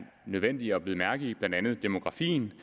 nødvendigt at bide mærke i blandt andet demografien